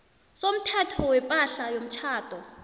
somthetho wepahla yomtjhado